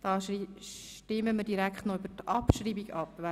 Wir stimmen über die Abschreibung ab.